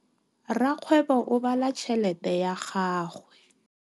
Rakgwêbô o bala tšheletê ya gagwe.